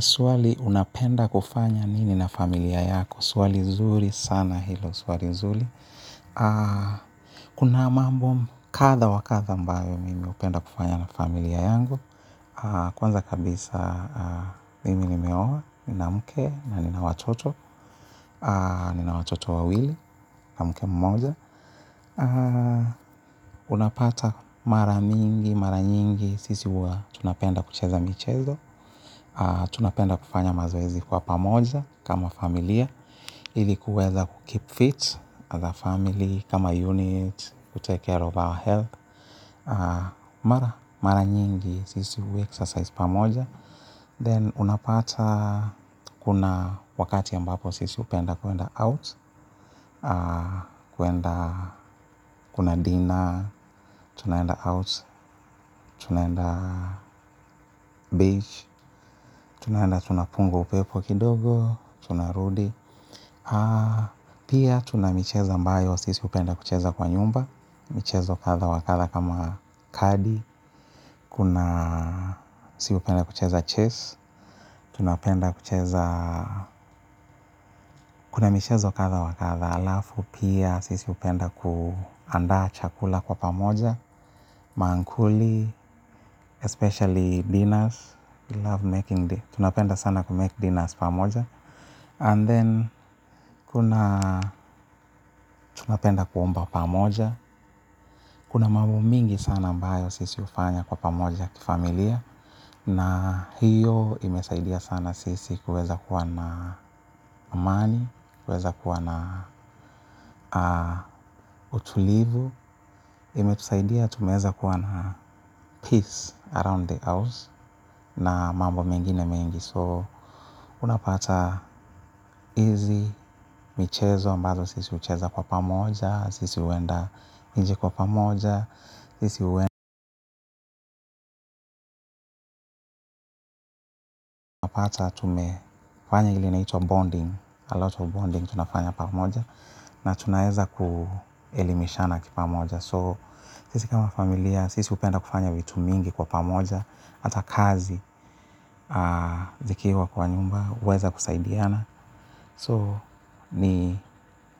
Swali unapenda kufanya nini na familia yako. Swali zuri sana hilo. Swali zuri. Kuna mambo kadha wa kadha ambayo mimi hupenda kufanya na familia yangu. Kwanza kabisa mimi nimeoa. Nina mke na nina watoto. Nina watoto wawili na mke mmoja. Unapata mara mingi, mara nyingi. Sisi huwa tunapenda kucheza michezo. Tunapenda kufanya mazoezi kwa pamoja kama familia ili kuweza ku keep fit as a family kama unit. Ku take care of our health mara nyingi sisi hu exercise pamoja. Then unapata kuna wakati ambapo sisi hupenda kuenda out. Kuenda kuna dinner, tunaenda out, tunaenda beach. Tunaenda tunapunga upepo kidogo, tunarudi, pia tuna michezo ambayo, sisi hupenda kucheza kwa nyumba, michezo kadha wa kadha kama kadi, kuna si hupenda kucheza chess, tunapenda kucheza, kuna michezo kadha wa kadha alafu, pia sisi hupenda kuandaa chakula kwa pamoja, mankuli, especially dinners, love making day, tunapenda sana ku make dinners pamoja. And then, kuna tunapenda kuomba pamoja, kuna mambo mingi sana ambayo sisi hufanya kwa pamoja kifamilia, na hiyo imesaidia sana sisi kuweza kuwa na amani, kuweza kuwa na utulivu, imetusaidia tumeweza kuwa na peace around the house, na mambo mengine mengi. So, unapata izi, michezo ambazo sisi hucheza kwa pamoja, sisi huenda nje kwa pamoja, sisi huenda pata tumefanya ile inaitwa bonding, a lot of bonding tunafanya pamoja, na tunaeza kuelimishana kipamoja. So, sisi kama familia, sisi hupenda kufanya vitu mingi kwa pamoja, hata kazi zikiwa kwa nyumba, huweza kusaidiana. So, ni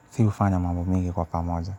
si hufanya mambo mingi kwa pamoja.